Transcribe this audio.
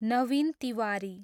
Naveen Tiwari